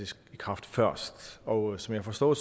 i kraft først og som jeg forstår